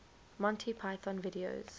monty python videos